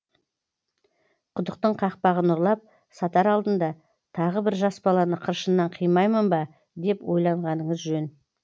құдықтың қақпағын ұрлап сатар алдында тағы бір жас баланы қыршыннан қимаймын ба деп ойланғаныңыз жөн